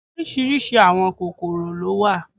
Orísìírísìí àwọn kòròkò ló wà